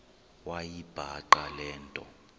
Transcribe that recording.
wayibhaqa le nto